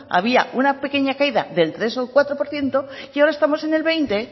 había una pequeña caída del tres o el cuatro por ciento y ahora estamos en el veinte